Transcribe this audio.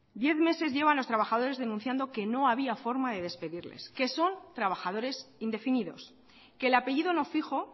diez meses llevan los trabajadores denunciando que no había forma de despedirlos que son trabajadores indefinidos que el apellido no fijo